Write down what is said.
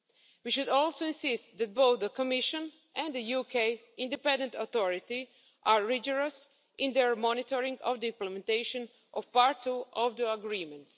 We should also insist that both the Commission and a UK independent authority are rigorous in their monitoring of the implementation of part two of the agreement.